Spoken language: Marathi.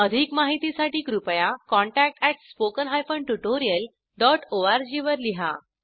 अधिक माहितीसाठी कृपया contact at spoken hyphen tutorial dot ORG वर लिहा